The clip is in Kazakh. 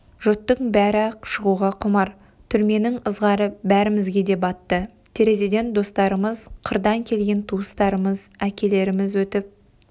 жұрттың бәрі-ақ шығуға құмар түрменің ызғары бәрімізге де батты терезеден достарымыз қырдан келген туыстарымыз әкелеріміз өтіп